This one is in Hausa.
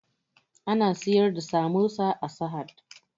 Ana siyar da samosa a sahad